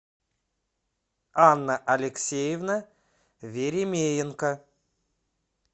анна алексеевна веремеенко